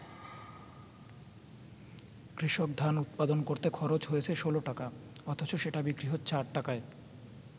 কৃষক ধান উৎপাদন করতে খরচ হয়েছে ১৬ টাকা, অথচ সেটা বিক্রি হচ্ছে ৮ টাকায়।